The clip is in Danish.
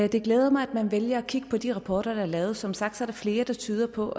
det glæder mig at man vælger at kigge på de rapporter der er lavet som sagt er der flere der tyder på